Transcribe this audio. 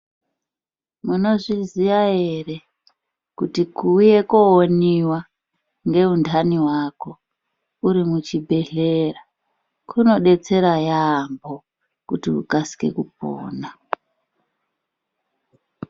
Munizviziya here kuti ku uye kowoniwa, ngewuntani wako urimuchibhedhlera , kunodetsera yampho kuti ukasike kupona.